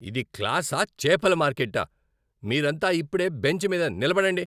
ఇది క్లాసా, చేపల మార్కెట్టా? మీరంతా ఇప్పుడేే బెంచ్ మీద నిలబడండి!